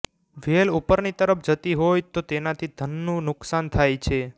વેલ ઉપરની તરફ જતી હોય તો તેનાથી ધનનું નુકસાન થાય છે